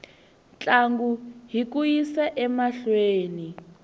ntlangu hi ku yisa emahlweni